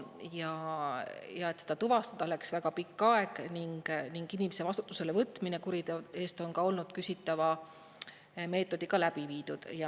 Ja et seda tuvastada, läks väga pikk aeg ning inimese vastutusele võtmine kuriteo eest on olnud ka küsitava meetodiga läbi viidud.